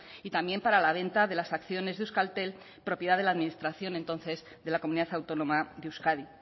y también para la venta de las acciones de euskaltel propiedad de la administración entonces de la comunidad autónoma de euskadi